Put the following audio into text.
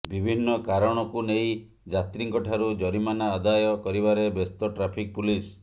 ବିଭିନ୍ନ କାରଣକୁ ନେଇ ଯାତ୍ରୀଙ୍କ ଠାରୁ ଜରିମାନା ଆଦୟ କରିବାରେ ବ୍ୟସ୍ତ ଟ୍ରାଫିକ୍ ପୁଲିସ୍